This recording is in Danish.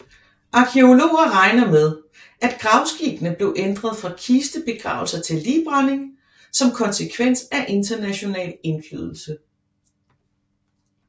Arkæologer regner med at gravskikkene blev ændret fra kistebegravelser til ligbrænding som konsekvens af international indflydelse